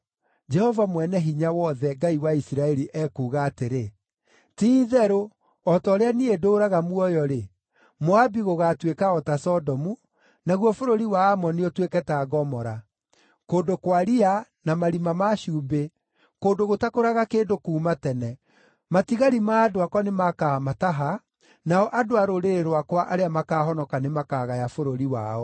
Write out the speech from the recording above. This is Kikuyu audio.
Jehova Mwene-Hinya-Wothe, Ngai wa Isiraeli, ekuuga atĩrĩ, “Ti-itherũ o ta ũrĩa niĩ ndũũraga muoyo-rĩ, Moabi gũgaatuĩka o ta Sodomu, naguo bũrũri wa Aamoni ũtuĩke ta Gomora, kũndũ kwa riya, na marima ma cumbĩ, kũndũ gũtakũraga kĩndũ kuuma tene. Matigari ma andũ akwa nĩmakaamataha; nao andũ a rũrĩrĩ rwakwa arĩa makaahonoka nĩmakagaya bũrũri wao.”